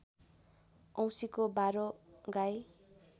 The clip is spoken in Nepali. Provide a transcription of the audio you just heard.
औँसीको बारो गाई